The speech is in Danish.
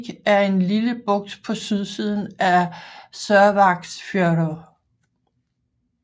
Selvík er en lille bugt på sydsiden af Sørvágsfjørður